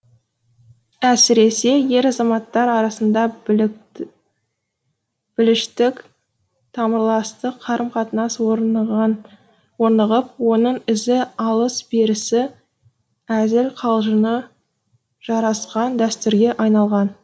әсіресе ер азаматтар арасында біліштік тамырластық қарым қатынас орнығып оның өзі алыс берісі әзіл қалжыңы жарасқан дәстүрге айналған